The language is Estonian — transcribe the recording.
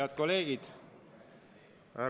Head kolleegid!